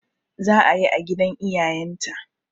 Za'a yi a gidan iyayen ta